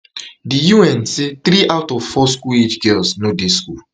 di un say three out of four school age girls no dey school